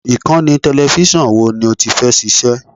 Ìkànnì tẹlẹfísọ̀n wo ni ó ti fẹ́ ṣiṣẹ́?